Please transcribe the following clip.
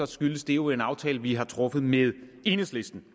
skyldes det jo en aftale vi har truffet med enhedslisten